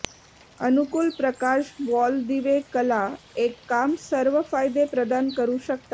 अनुकूल प्रकाश वॉल दिवे कला एक काम सर्व फायदे प्रदान करू शकता